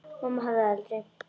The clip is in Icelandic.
Mamma hefði aldrei.